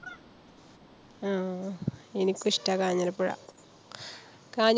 ആഹ് എനിക്കും ഇഷ്ട്ടാ കാഞ്ഞിരപ്പുഴ കാഞ്ഞ